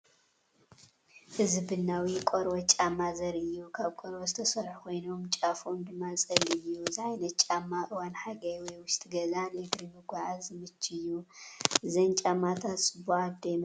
እዚ ቡናዊ ቆርበት ጫማ ዘርኢ እዩ። ካብ ቆርበት ዝተሰርሑ ኮይኖም፡ ጫፎም ድማ ጸሊም እዩ። እዚ ዓይነት ጫማ ኣብ እዋን ሓጋይ ወይ ኣብ ውሽጢ ገዛ ንእግሪ ምጉዓዝ ዝምችእ እዩ። እዘን ጫማታት ጽቡቓት ዶ ይመስለካ?